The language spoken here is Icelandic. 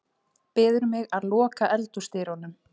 Biður mig að loka eldhúsdyrunum.